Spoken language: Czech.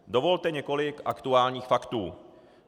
Dovolte několik aktuálních faktů.